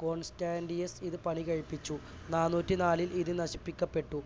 Constantius ഇത് പണി കഴിപ്പിച്ചു നാനൂറ്റിനാലിൽ ഇത് നശിപ്പിക്കപ്പെട്ടു.